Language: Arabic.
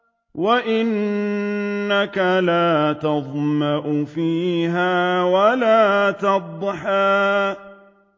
وَأَنَّكَ لَا تَظْمَأُ فِيهَا وَلَا تَضْحَىٰ